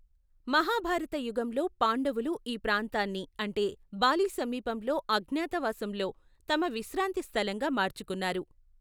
మహాభారత యుగంలో, పాండవులు ఈ ప్రాంతాన్ని అంటే బాలి సమీపంలో అజ్ఞాతవాసంలో తమ విశ్రాంతి స్థలంగా మార్చుకున్నారు.